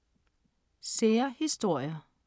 Sære historier